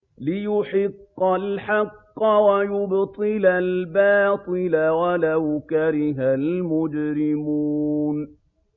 لِيُحِقَّ الْحَقَّ وَيُبْطِلَ الْبَاطِلَ وَلَوْ كَرِهَ الْمُجْرِمُونَ